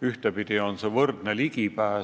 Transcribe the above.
Ühtepidi peab olema võrdne ligipääs.